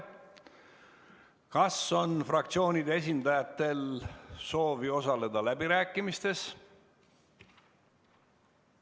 Kas fraktsioonide esindajatel on soovi osaleda läbirääkimistes?